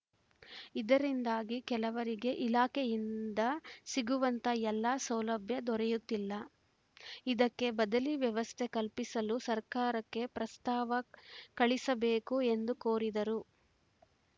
ಇದರಿಂದಾಗಿ ಕೆಲವರಿಗೆ ಇಲಾಖೆಯಿಂದ ಸಿಗುವಂಥ ಎಲ್ಲ ಸೌಲಭ್ಯ ದೊರೆಯುತ್ತಿಲ್ಲ ಇದಕ್ಕೆ ಬದಲಿ ವ್ಯವಸ್ಥೆ ಕಲ್ಪಿಸಲು ಸರ್ಕಾರಕ್ಕೆ ಪ್ರಸ್ತಾವ ಕಳಿಸಬೇಕು ಎಂದು ಕೋರಿದರು